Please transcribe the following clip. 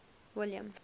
william